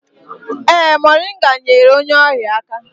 Ee, moringa nyeere onye ọrịa aka